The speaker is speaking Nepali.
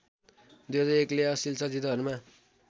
२००१ ले अश्लिल चलचित्रहरूमा